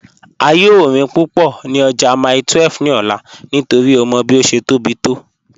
A yòò rín púpọ́ ní ọ̀jà Mile 12 ní òlà nítorí ó mọ́ bí ó ṣé tó bí to.